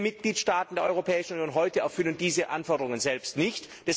Viele Mitgliedstaaten der Europäischen Union erfüllen diese Anforderungen selbst nicht.